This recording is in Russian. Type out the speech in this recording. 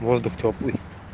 воздух тёплый